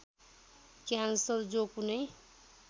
cancer जो कुनै